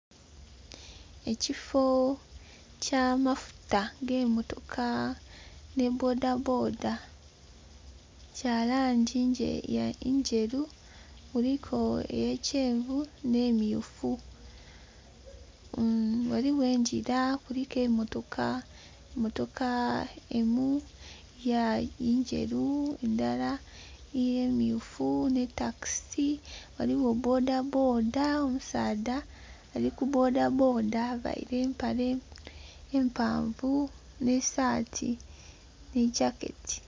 Ekifo ekyamafuta agemotoka ni boodabooda, kya langi ndheru, kuliku eya kyenvu ne myufu. Ghaligho engira kuliku emotoka, emotoka eyindhi nderu, eyindhi myufu ni takisi ghaliwo bodaboda, omusaadha ali ku bodaboda availe empale empanvu ni saati ni gyaketi.